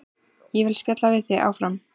Ég vil spjalla við þig áfram.